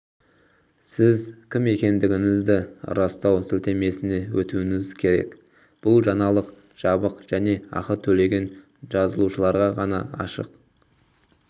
сіз кім екендігіңізді растау сілтемесіне өтуіңіз керек бұл жаңалық жабық және ақы төлеген жазылушыларға ғана ашық